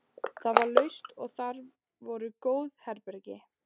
Það var laust og þar voru góð herbergi.